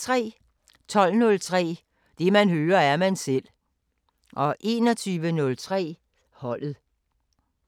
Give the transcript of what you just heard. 12:03: Det man hører, er man selv 21:03: Holdet